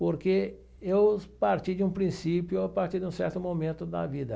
Porque eu parti de um princípio, eu parti de um certo momento da vida.